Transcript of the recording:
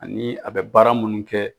Ani a bɛ baara munnu kɛ.